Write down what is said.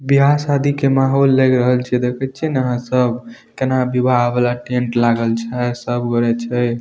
बियाह शादी के माहौल लग रहल छे। देखे छे न सब कने विवाह वाला टेंट लागल छे। सब गोरे छे।